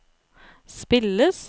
spilles